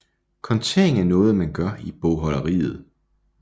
Kontering er noget man gør i bogholderiet